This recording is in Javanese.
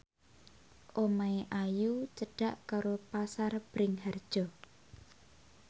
omahe Ayu cedhak karo Pasar Bringharjo